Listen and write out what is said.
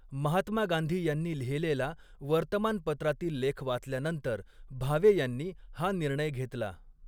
महात्मा गांधी यांनी लिहिलेला वर्तमानपत्रातील लेख वाचल्यानंतर भावे यांनी हा निर्णय घेतला.